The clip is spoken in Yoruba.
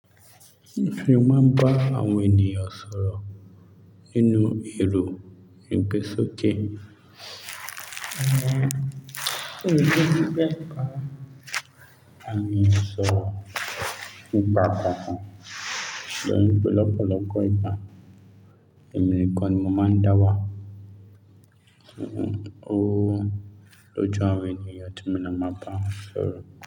Mio fe máa ń bá àwọn ènìyàn sọ̀rọ̀ nínú èrò ìgbèsókè. Òye ló ní pé àwọn ènìyàn sọ̀rọ̀ nípa gbogbo ohun lọ́pọ̀lọpọ̀ ìgbà. Èmi nikàn nì mo máa ń dáwà. Ó ló jọ àwọn ènìyàn tí mo máa ń bá sọ̀rọ̀